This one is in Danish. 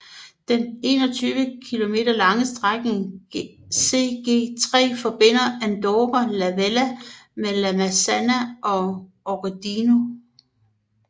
Den 21 km lange strækningen CG 3 forbinder Andorra la Vella med La Massana og Ordino